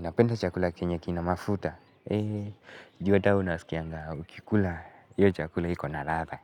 Napenda chakula kenye kina mafuta. Juu ata we unasikianga ukikula hiyo chakula iko ladha